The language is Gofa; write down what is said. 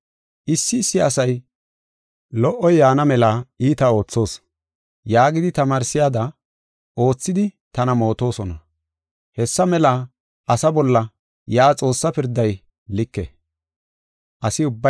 Issi issi asay, “Lo77oy yaana mela iita oothoos” yaagidi tamaarsiyada oothidi tana mootosona. Hessa mela asaa bolla yaa Xoossaa pirday like.